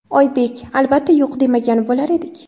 Oybek: Albatta, yo‘q demagan bo‘lar edik.